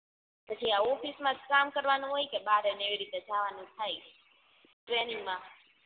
પછી આ ઓફિસ માજ કામ કરવાનું હોય કે બરેન એવી રીતના જવાનું થાય ટ્રેનિંગ માં